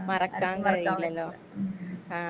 അനുഭവണ്ടാകും ഉം.